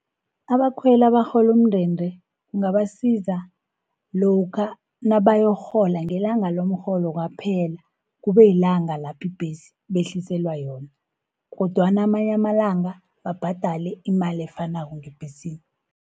Abakhweli abarholu umndende kungabasiza lokha nabayokurhola ngelanga lomrholo kwaphela, kube yilanga laphi ibhesi behliselwa yona, kodwana amanya amalanga babhadali imali efanako ngebhesini.